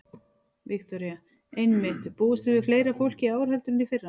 Viktoría: Einmitt, búist þið við fleira fólki í ár heldur en í fyrra?